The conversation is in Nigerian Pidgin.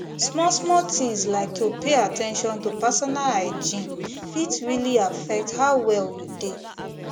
small small things like to pay at ten tion to personal hygiene fit really affect how well you dey